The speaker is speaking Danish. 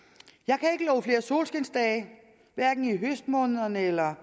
at flere solskinsdage hverken i høstmånederne eller